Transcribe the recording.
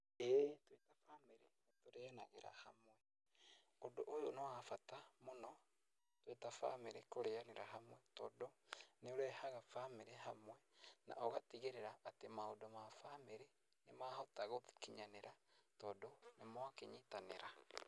Ĩĩ twĩ ta bamĩrĩ nĩtũrĩanagĩra hamwe. Ũndũ ũyũ nĩwabata mũno twĩ ta bamĩrĩ kũrĩanĩra hamwe tondũ nĩũrehaga bamĩrĩ hamwe na ũgatigĩrĩra atĩ maũndũ ma bamĩrĩ nĩmahota gũkinyanĩra tondũ nĩmwakĩnyitanira.